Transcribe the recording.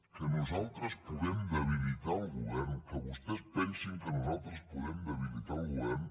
que nosaltres puguem debilitar el govern que vostès pensin que nosaltres podem debilitar el govern